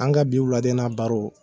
An ga bi wulada in na baro